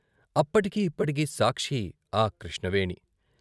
అప్పటికీ ఇప్పటికీ సాక్షి ఆ కృష్ణవేణి.